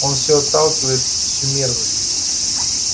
он всё отталкивает всю мерзость